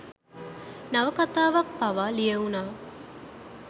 නවකතාවක් පවා ලියවුනා.